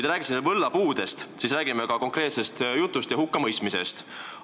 Te rääkisite siin võllapuust, räägime siis ka ühest konkreetsest hukkamõistmisest.